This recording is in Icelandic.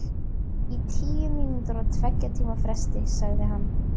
Í tíu mínútur á tveggja tíma fresti, sagði hann.